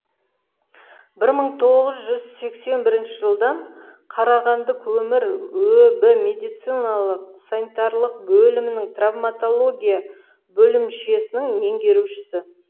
бір мың тоғыз жүз сексен бірінші жылдан қарағанды көмір өб медициналық санитарлық белімінің травмотология бөлімшесінің меңгерушісі